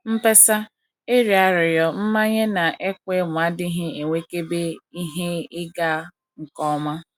mkpesa, ịrịọ arịrịọ, mmanye, na ịkwa emo adịghị enwekebe ihe ịga nke ọma.